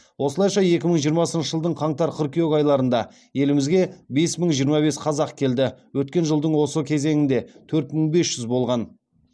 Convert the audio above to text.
осылайша екі мың жиырмасыншы жылдың қаңтар қыркүйек айларында елімізге бес мың жиырма бес қазақ келді өткен жылдың осы кезеңінде төрт мың бес жүз болған